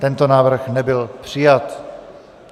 Tento návrh nebyl přijat.